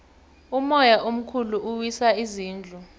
umoya omkhulu uwisa izindlu